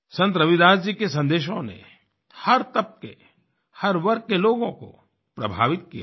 संत रविदास जी के संदेशों ने हर तबके हर वर्ग के लोगों को प्रभावित किया है